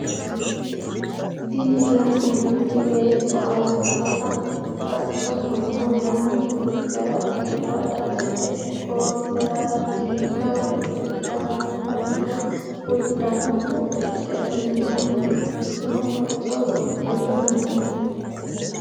Tini la'neemoti beetto albisera gaccohonna lamentte kicera qurra dadhite goowisera digga wodhite sidamunita budu uddanno udidhe imaanni ikkino hocco usudhite noote.